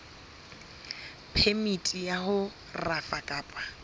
phemiti ya ho rafa kapa